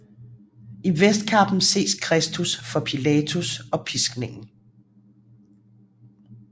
I vestkappen ses Kristus for Pilatus og Piskningen